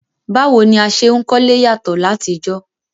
Báwo ni a se n kólé yàtọ́ látijọ́